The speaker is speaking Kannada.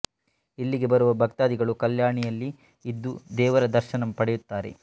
ಇಲ್ಲಿಗೆ ಬರುವ ಭಕ್ತಾದಿಗಳು ಕಲ್ಯಾಣಿಯಲ್ಲಿ ಇದ್ದು ದೇವರ ದರ್ಶನ ಪಡೆಯುತ್ತಾರೆ